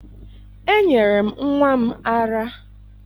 Enyere m nnwa m ara